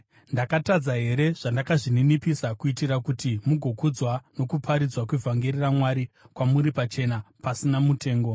Ndakatadza here zvandakazvininipisa kuitira kuti imi mugokudzwa nokuparidzwa kwevhangeri raMwari kwamuri pachena pasina mutengo?